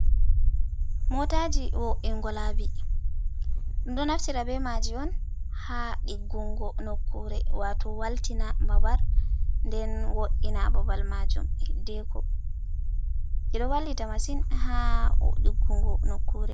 "Mootaji" wo’ingo laabi ɗum ɗo naftira be maaji on ha ɗiggungo nokkure wato waltina babal nden wo’ina babal majum hidddeko. Ɗii ɗo wallita masin haa diggungo nokkure.